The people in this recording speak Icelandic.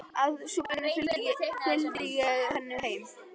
Að svo búnu fylgdi ég henni heim.